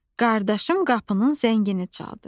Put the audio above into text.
Qardaşım qapının zəngini çaldı.